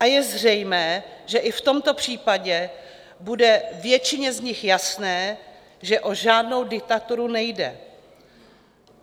A je zřejmé, že i v tomto případě bude většině z nich jasné, že o žádnou diktaturu nejde.